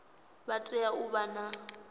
vha tea u vha na